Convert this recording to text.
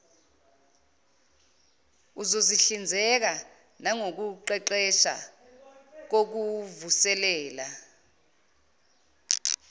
uzohlinzeka nangokuqeqesha kokuvuselela